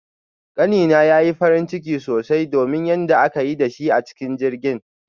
Kani na yayi farin ciki sosai domin yanda aka yi da shi a cikin jirgin